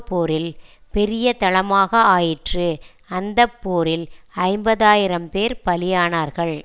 போரில் பெரிய தளமாக ஆயிற்று அந்த போரில் ஐம்பது ஆயிரம்பேர் பலியானார்கள்